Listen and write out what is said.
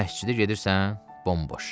Məscidə gedirsən, bomboş.